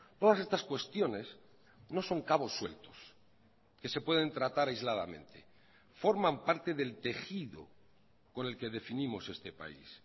todas estas cuestiones no son cabos sueltos que se pueden tratar aisladamente forman parte del tejido con el que definimos este país